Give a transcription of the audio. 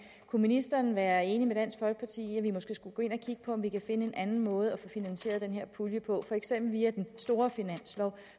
kunne ministeren være enig med dansk folkeparti i at vi måske skulle gå ind og kigge på om vi kan finde en anden måde at finansiere den her pulje på for eksempel via den store finanslov